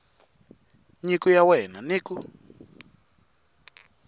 nyiko ya wena ni ku